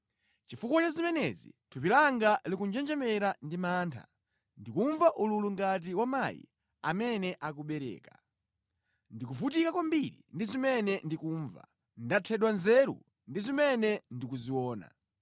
Chifukwa cha zimenezi thupi langa likunjenjemera ndi mantha, ndikumva ululu ngati wa mayi amene akubereka; ndikuvutika kwambiri ndi zimene ndikumva, ndathedwa nzeru ndi zimene ndikuziona.